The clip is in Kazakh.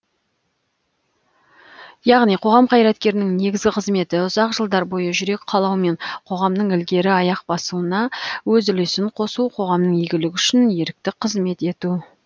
яғни қоғам қайраткерінің негізгі қызметі ұзақ жылдар бойы жүрек қалауымен қоғамның ілгері аяқ басуына өз үлесін қосу қоғамның игілігі үшін ерікті қызмет ету